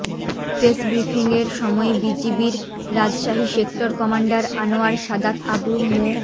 press ব্রিফিংয়ের সময় বিজিবির রাজশাহী সেক্টর কমান্ডার আনোয়ার সাদাত আবু মো